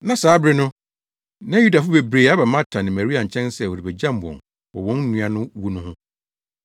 na saa bere no na Yudafo bebree aba Marta ne Maria nkyɛn sɛ wɔrebegyam wɔn wɔ wɔn nua no wu no ho.